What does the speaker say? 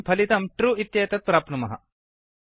वयं फलितं ट्रू इत्येतत् प्राप्नुमः